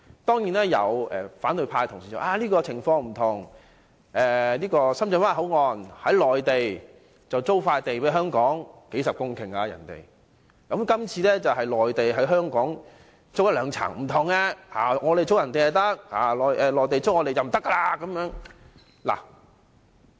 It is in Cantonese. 當然，有反對派同事指出，當前的情況並不相同，深圳灣口岸是由內地出租一幅數十公頃的土地給香港，而今次則是內地向香港租用兩層地方，是有分別的。